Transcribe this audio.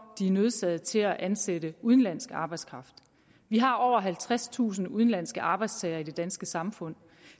nødsaget til at ansætte udenlandsk arbejdskraft vi har over halvtredstusind udenlandske arbejdstagere i det danske samfund